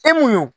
E mun y'o